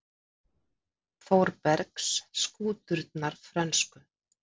Þórbergs: skúturnar frönsku.